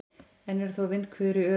Enn eru þó vindhviður í Öræfunum